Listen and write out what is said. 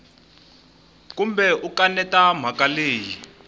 kumbe u kaneta mhaka leyi